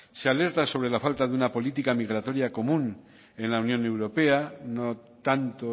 se alerta sobre la falta de una política migratoria común en la unión europea no tanto